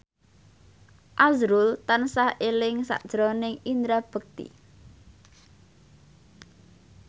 azrul tansah eling sakjroning Indra Bekti